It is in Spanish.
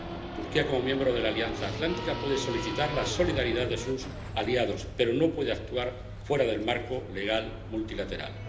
Turquía, como miembro de la Alianza Atlántica, puede solicitar la solidaridad de sus aliados, pero no puede actuar fuera del marco legal multilateral.